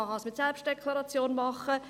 Man kann es mit Selbstdeklaration machen.